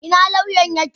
Ina lauyan ya ke?